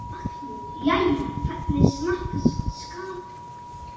Magnús: Jæja, hvernig smakkast skatan?